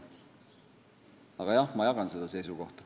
Aga jah, ma jagan seda seisukohta.